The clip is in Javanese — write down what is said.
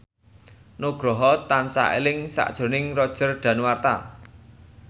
Nugroho tansah eling sakjroning Roger Danuarta